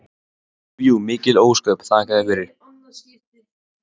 Jú jú, mikil ósköp, þakka þér fyrir.